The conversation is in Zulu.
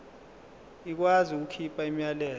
ikwazi ukukhipha umyalelo